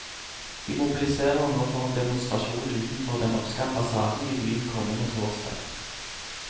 De mobiliserer nå for en demonstrasjon utenfor den norske ambassaden i byen kommende torsdag.